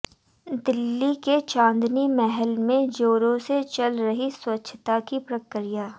दिल्ली के चांदनी महल में ज़ोरों से चल रही स्वच्छता की प्रक्रिया